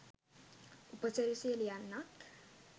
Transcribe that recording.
උපසිරැසිය ලියන්නත්